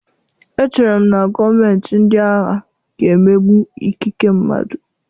Echere m na gọọmentị ndị agha ga-emegbu ikike mmadụ.